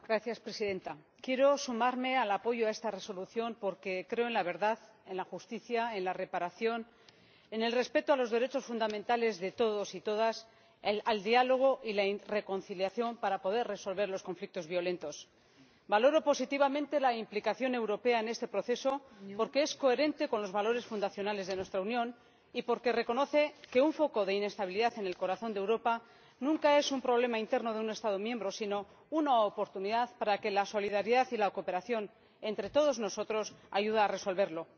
Señora Presidenta, quiero sumarme al apoyo a esta propuesta de Resolución porque creo en la verdad, en la justicia, en la reparación, en el respeto a los derechos fundamentales de todos y todas, y en el diálogo y la reconciliación para poder resolver los conflictos violentos. Valoro positivamente la implicación europea en este proceso, porque es coherente con los valores fundacionales de nuestra Unión y porque reconoce que un foco de inestabilidad en el corazón de Europa nunca es un problema interno de un Estado miembro, sino una oportunidad para que la solidaridad y la cooperación entre todos nosotros ayude a resolverlo.